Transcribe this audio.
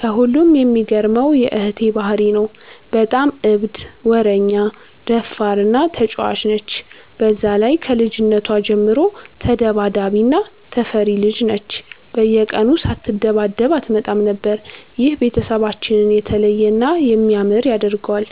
ከሁሉም የሚገርመው የ እህቴ ባህሪ ነው። በጣም እብድ፣ ወረኛ፣ ደፋር እና ተጫዋች ነች። በዛ ላይ ከልጅነቷ ጀምሮ ተዳባዳቢ እና ተፈሪ ልጅ ነች፤ በየቀኑ ሳትደባደብ አትመጣም ነበር። ይህ ቤተሰባችንን የተለየ እና የሚያምር ያደርገዋል።